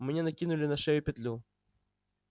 мне накинули на шею петлю